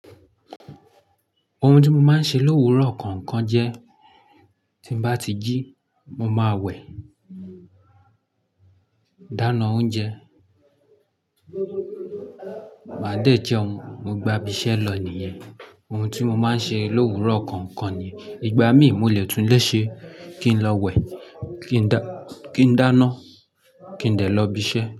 Ohun tí mo máa ń ṣe l'òwúrọ̀ kọ̀ọ̀kan jẹ́, tí bá ti jí, mo máa wẹ̀, dáná oúnjẹ, máa dè jẹun, mo gba ibiṣẹ́ lọ nìyẹn. Ohun tí mo máa ń ṣe l'òwúrọ̀ kọ̀ọ̀kan ni ìgbà mí ì mo le tún ile ṣe kí n lọ wẹ̀, kí n dá-- kí n dáná, kí n de lọ ibiṣẹ́.